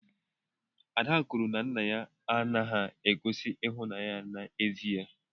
Ada kwuru na nna ya anaghị egosi ịhụnanya ya n'ezie.